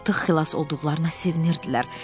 Artıq xilas olduqlarına sevinirdilər.